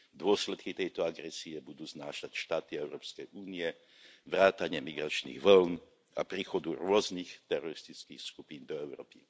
Dôsledky tejto agresie budú znášať štáty Európskej únie vrátane migračných vĺn a príchodu rôznych teroristických skupín do Európy.